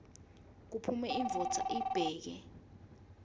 kuphume indvodza ibheke